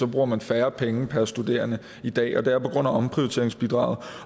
bruger man færre penge per studerende i dag og det er på grund af omprioriteringsbidraget